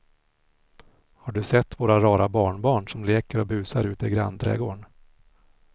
Har du sett våra rara barnbarn som leker och busar ute i grannträdgården!